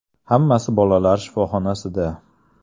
Hammasi bolalar shifoxonasida.